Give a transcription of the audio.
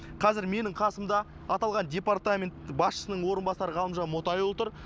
қазір менің қасымда аталған департамент басшысының орынбасары ғалымжан мотайұлы тұр